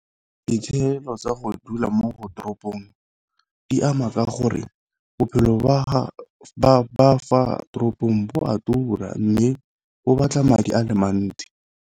Ditshenyegelo tsa go dula mo toropong di ama ka gore, bophelo ba fa toropong bo a tura mme bo batla madi a le mantsi.